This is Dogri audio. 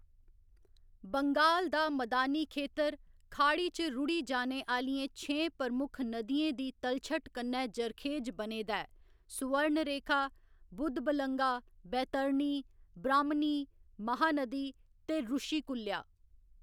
बंगाल दा मदानी खेतर खाड़ी च रुढ़ी जाने आह्‌‌‌लियें छें प्रमुख नदियें दी तलछट कन्नै जरखेज बने दा ऐ सुवर्णरेखा, बुधबलंगा, बैतरणी, ब्राह्‌‌मनी, महानदी ते रुशिकुल्या।